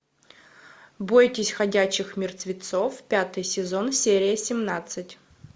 бойтесь ходячих мертвецов пятый сезон серия семнадцать